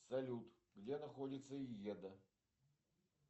салют где находится йеда